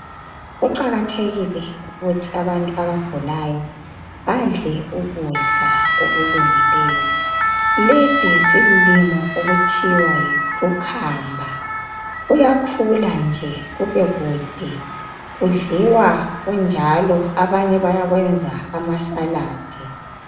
kuqakathekile ukuthi abantu abagulayo badle ukudla okulungileyo lesi yisilimo pkuthiwa yi cucumber kuyakhula nje kube kude kudliwa kunjalo abanye bayakwenza ama saladi